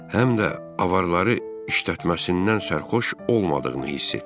Həm də avarları işlətməsindən sərxoş olmadığını hiss etdim.